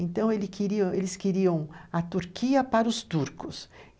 Então ele queria, ãh, eles queriam a Turquia para os turcos.